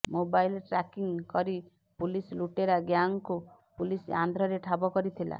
mobile tracking କରି police ଲୁଟେରା ଗ୍ୟାଙ୍ଗକୁ ପୁଲିସ୍ ଆନ୍ଧ୍ରରେ ଠାବ କରିଥିଲା